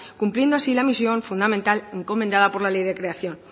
cumpliendo así la misión fundamental encomendada por la ley de creación